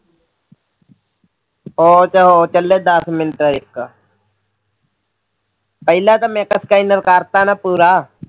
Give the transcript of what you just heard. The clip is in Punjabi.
ਉਹ ਤਾਂ ਹੋ ਚੱਲੇ ਦਸ ਮਿੰਟ ਇੱਕ ਪਹਿਲਾ ਸਕੈਨਰ ਕਰਤਾ ਨਾ ਪੂਰਾ